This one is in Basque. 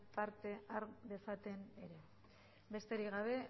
parte har dezaten ere besterik gabe